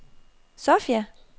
Sofia